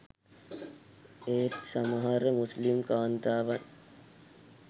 ඒත් සමහර මුස්‌ලිම් කාන්තාවන්